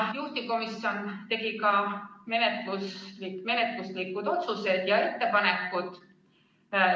Juhtivkomisjon tegi ka menetluslikud otsused ja ettepanekud.